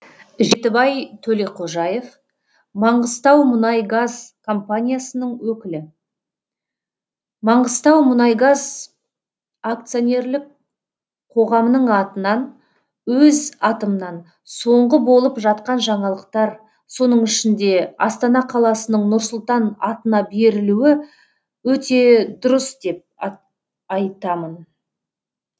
жетібай төлеқожаев маңғыстаумұнайгаз компаниясының өкілі маңғыстаумұнайгаз акционерлік қоғамының атынан өз атымнан соңғы болып жатқан жаңалықтар соның ішінде астана қаласының нұр сұлтан атына берілуі өте дұрыс деп айтамын